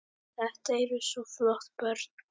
Þetta eru svo flott börn.